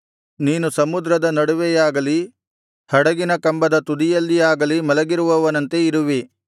ನೀನು ಸಮುದ್ರದ ನಡುವೆಯಾಗಲಿ ಹಡಗಿನ ಕಂಬದ ತುದಿಯಲ್ಲಿಯಾಗಲಿ ಮಲಗಿರುವವನಂತೆ ಇರುವಿ